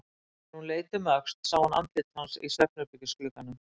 Þegar hún leit um öxl sá hún andlit hans í svefnherbergisglugganum.